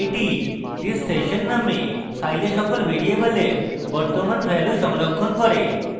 এটি thissession নামক file সকল ভ্যারিয়েবলের বর্তমান ভ্যালু সংরক্ষণ করবে